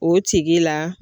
O tigi la.